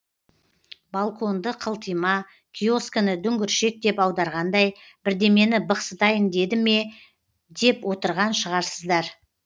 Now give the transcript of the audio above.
балконды қылтима киоскіні дүңгіршек деп аударғандай бірдемені бықсытайын деді ме деп отырған шығарсыздар